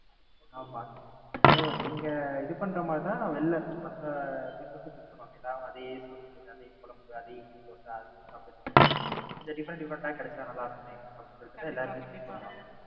ஆமா. So நீங்க இது பண்றமாறி தான் வெளில மத்த Peoples உம் Pick பண்ணுவாங்க எல்லாரும் அதே சோறு அதே மீன் குழம்பு அதே இட்லி தோசை அதையே சாப்ட்டுட்டு இருக்குறதுக்கு கொஞ்சம் Different different ஆ கிடைச்சா நல்லாருக்குமே அப்படின்னு சொல்லிட்டு எல்லாருமே Pick பண்ணுவாங்க.